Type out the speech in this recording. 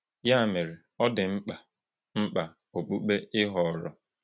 Ya mere, ọ dị mkpa mkpa okpukpe ị họọrọ.